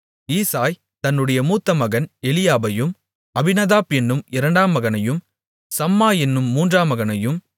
ஈசாய் தன்னுடைய மூத்த மகன் எலியாபையும் அபினதாப் என்னும் இரண்டாம் மகனையும் சம்மா என்னும் மூன்றாம் மகனையும்